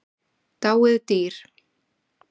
Dáið dýr.